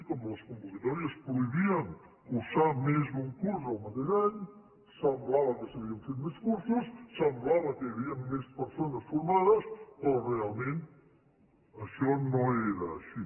com a les convocatòries prohibien cursar més d’un curs el mateix any semblava que s’havien fet més cursos semblava que hi havia més persones formades però realment això no era així